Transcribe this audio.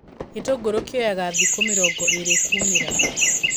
Gĩtungũru kioyaga thikũ mĩringo ĩrĩ kumĩra.